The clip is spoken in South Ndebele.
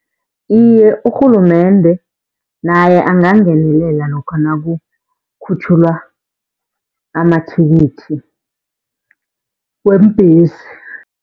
Iye, urhulumende naye angangenelela lokha nakukhutjhulwa amathikithi weembhesi.